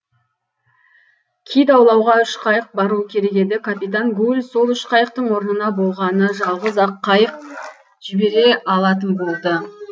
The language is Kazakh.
кит аулауға үш қайық баруы керек еді капитан гуль сол үш қайықтың орнына болғаны жалғыз ақ қайық жібере алатын болды